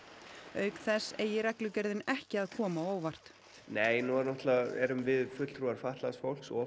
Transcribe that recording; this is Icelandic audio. auk þess eigi reglugerðin ekki að koma á óvart nei nú erum við fulltrúar fatlaðs fólks og